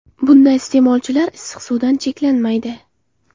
Bunda iste’molchilar issiq suvdan cheklanmaydi.